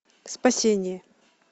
спасение